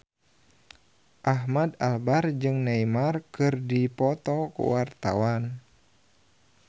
Ahmad Albar jeung Neymar keur dipoto ku wartawan